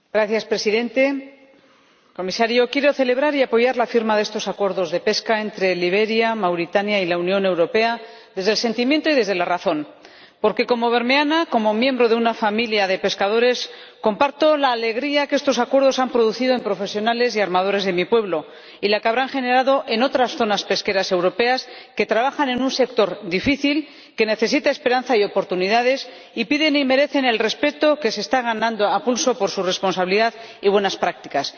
Señor Presidente, señor Comisario, quiero celebrar y apoyar la firma de estos acuerdos de pesca entre Liberia, Mauritania y la Unión Europea desde el sentimiento y desde la razón. Porque, como bermeana y como miembro de una familia de pescadores, comparto la alegría que estos acuerdos han producido en profesionales y armadores de mi pueblo, y la que habrán generado en otras zonas pesqueras europeas que trabajan en un sector difícil que necesita esperanza y oportunidades y piden y merecen el respeto que se están ganando a pulso por su responsabilidad y buenas prácticas.